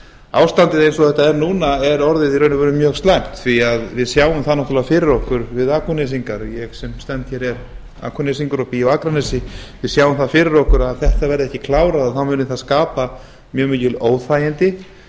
ástandið eins og þetta er núna er orðið í raun og veru mjög slæmt því að við sem það náttúrlega fyrir okkur við akurnesingar ég sem stend hér er akurnesingur og bý á akranesi við sjáum það fyrir okkur að ef þetta verði ekki klárað muni það skapa mjög mikil óþægindi